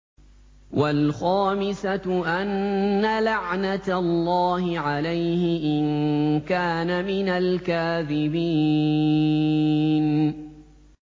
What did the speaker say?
وَالْخَامِسَةُ أَنَّ لَعْنَتَ اللَّهِ عَلَيْهِ إِن كَانَ مِنَ الْكَاذِبِينَ